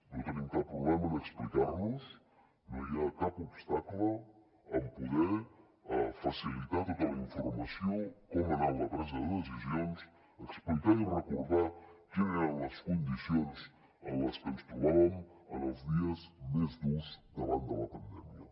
no tenim cap problema en explicar nos no hi ha cap obstacle en poder facilitar tota la informació com ha anat la presa de decisions explicar i recordar quines eren les condicions en les que ens trobàvem en els dies més durs davant de la pandèmia